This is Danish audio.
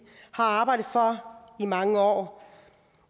har arbejdet for i mange år